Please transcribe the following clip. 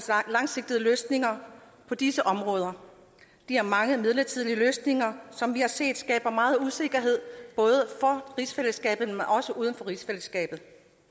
langsigtede løsninger på disse områder de mange midlertidige løsninger som vi har set skaber meget usikkerhed både for rigsfællesskabet men også uden for rigsfællesskabet